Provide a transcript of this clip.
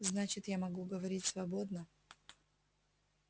значит я могу говорить свободно